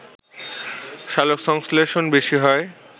সালোকসংশ্লেষণ বেশি হয়